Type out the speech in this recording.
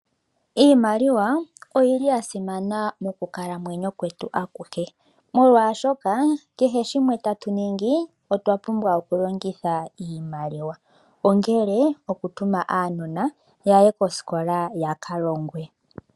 Iimaliwa oyili ya simana mokukalamwenyo kwetu akuhe, molwashoka kehe shimwe tatu ningi otwa pumbwa okulongitha iimaliwa. Ongele okutuma aanona yaye kosikola ya ka longwe.